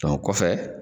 o kɔfɛ